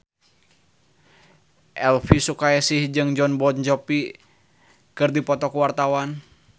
Elvy Sukaesih jeung Jon Bon Jovi keur dipoto ku wartawan